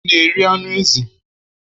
ị na-eri anụ ezi?